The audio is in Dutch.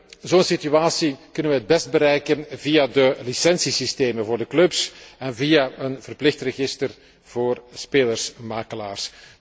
Een dergelijke situatie kunnen we het best bereiken via de licentiesystemen voor de clubs en via een verplicht register voor spelersmakelaars.